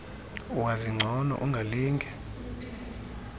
wazi ngcono ungalinge